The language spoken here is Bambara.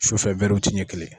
Sufɛ ɲɛ kelen.